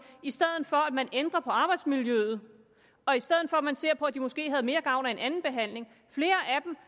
i stedet for at man ændrer på arbejdsmiljøet og i stedet for at man ser på om de måske havde mere gavn af en anden behandling flere af dem